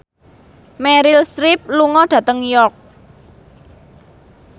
Meryl Streep lunga dhateng York